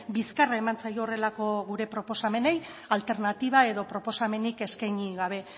bizkarra eman zaio horrelako gure proposamenei alternatiba edo proposamenik eskaini gabe